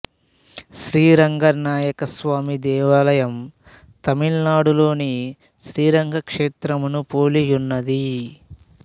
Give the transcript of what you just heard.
శ్రీ రంగనాయక స్వామి దేవాలయం తమిళనాడులోని శ్రీరంగ క్షేత్రమును పోలియున్నది